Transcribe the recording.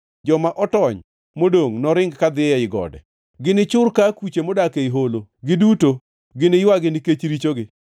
Joma otony modongʼ noringi kadhi ei gode. Ginichur ka akuche modak ei holo, giduto giniywagi, nikech richogi.